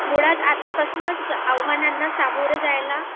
मुळात आतापासूनचआव्हानांना सामोरे जायला